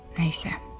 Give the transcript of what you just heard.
Nəysə.